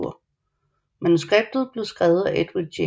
Manuskriptet blev skrevet af Edwin J